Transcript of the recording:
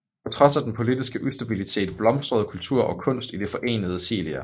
På trods af den politiske ustabilitet blomstrede kultur og kunst i det Forenede Silla